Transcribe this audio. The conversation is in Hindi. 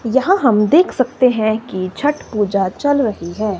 यहां हम देख सकते हैं कि छठ पूजा चल रही है।